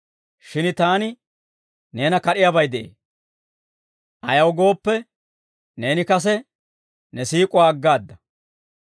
Shin taani neena kad'iyaabay de'ee; ayaw gooppe, neeni kase ne siik'uwaa aggaada.